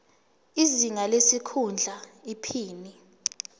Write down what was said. izinga lesikhundla iphini